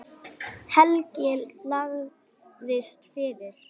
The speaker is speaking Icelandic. Helgi lagðist fyrir.